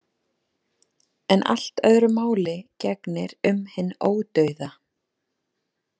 En allt öðru máli gegnir um hinn ódauða.